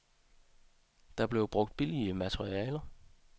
Der blev brugt billige materialer.